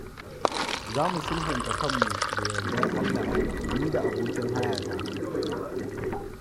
Za mu sulhunta kanmu da yarda Allah ni da abokin hayata.